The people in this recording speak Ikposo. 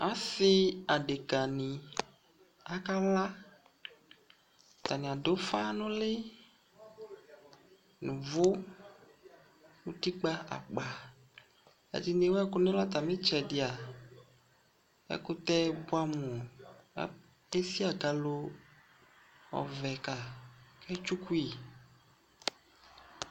Asi adekani kala atani adu ufa nu ulɩ nu uvu nu utikpa akpa ɛdini ewu ɛkunu ɛlu ɛkutɛ buamu di esi akalo ofue ka ketsukui